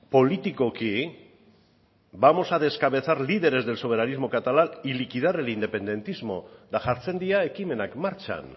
politikoki vamos a descabezar líderes del soberanismo catalán y liquidar el independentismo eta jartzen dira ekimenak martxan